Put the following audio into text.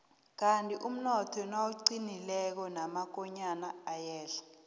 kandi umnotho nawuqinileko namakonyana ayehla